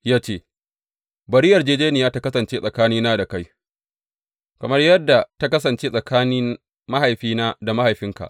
Ya ce, Bari yarjejjeniya ta kasance tsakanina da kai, kamar yadda ta kasance tsakanin mahaifina da mahaifinka.